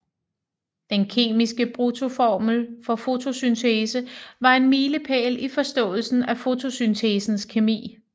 Den kemiske bruttoformel for fotosyntesen var en milepæl i forståelsen af fotosyntesens kemi